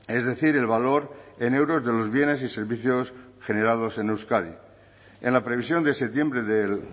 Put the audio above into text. es decir el valor en euros de los bienes y servicios generados en euskadi en la previsión de septiembre del